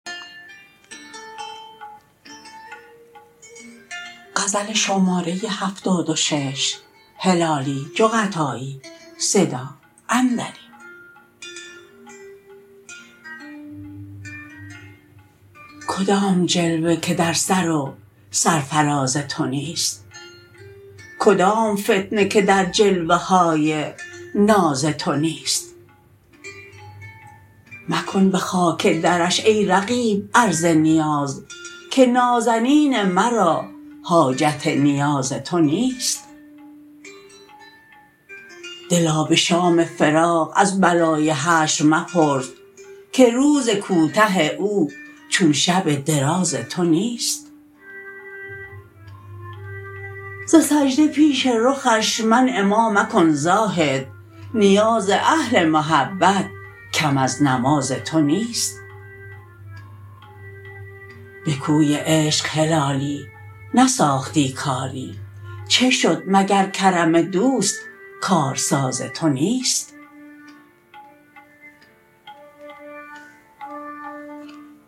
کدام جلوه که در سر و سرفراز تو نیست کدام فتنه که در جلوه های ناز تو نیست مکن بخاک درش ای رقیب عرض نیاز که نازنین مرا حاجت نیاز تو نیست دلا بشام فراق از بلای حشر مپرس که روز کوته او چون شب دراز تو نیست ز سجده پیش رخش منع ما مکن زاهد نیاز اهل محبت کم از نماز تو نیست بکوی عشق هلالی نساختی کاری چه شد مگر کرم دوست کارساز تو نیست